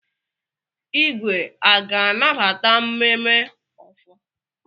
Igwe a ga-anabata mmemme ofor?